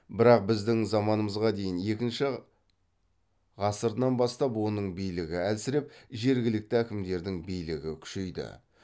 бірақ біздің заманымызға дейін екінші ғасырынан бастап оның билігі әлсіреп жергілікті әкімдердің билігі күшейді